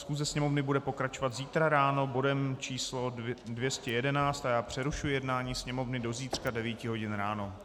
Schůze Sněmovny bude pokračovat zítra ráno bodem číslo 211 a já přerušuji jednání Sněmovny do zítřka 9 hodin ráno.